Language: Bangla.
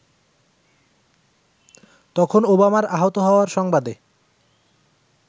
তখন ওবামার আহত হওয়ার সংবাদে